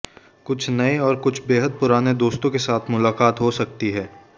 कुछ नए और कुछ बेहद पुराने दोस्तों के साथ मुलाकात हो सकती है